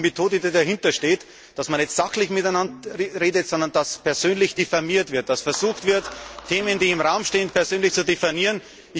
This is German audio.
Genau das ist die Methode, die dahintersteht, dass man nicht sachlich miteinander redet, sondern dass persönlich diffamiert wird, dass versucht wird, Themen, die im Raum stehen, persönlich zu diffamieren.